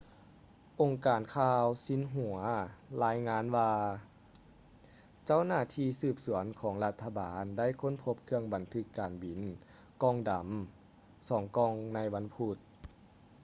ອົງການຂ່າວຊິນຫົວລາຍງານວ່າເຈົ້າໜ້າທີ່ສືບສວນຂອງລັດຖະບານໄດ້ຄົ້ນພົບເຄື່ອງບັນທຶກການບິນ ກ່ອງດຳ ສອງກ່ອງໃນວັນພຸດ